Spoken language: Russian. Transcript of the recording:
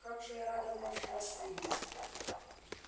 как же я рада вновь вас видеть